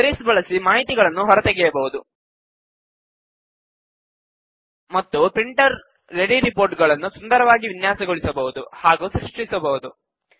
queries ಬಳಸಿ ಮಾಹಿತಿಗಳನ್ನು ಹೊರತೆಗೆಯಬಹುದು ಮತ್ತು ಪ್ರಿಂಟರ್ ರೆಡಿ ರಿಪೋರ್ಟ್ ಗಳನ್ನು ಸುಂದರವಾಗಿ ವಿನ್ಯಾಸಗೊಳಿಸಬಹುದು ಹಾಗೂ ಸೃಷ್ಟಿಸಬಹುದು